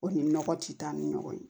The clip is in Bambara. O ni nɔgɔ ti taa ni ɲɔgɔn ye